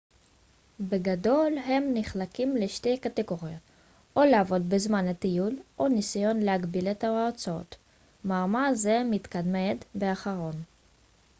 בגדול הם נחלקים לשתי קטגוריות או לעבוד בזמן הטיול או ניסיון להגביל את ההוצאות מאמר זה מתמקד באחרון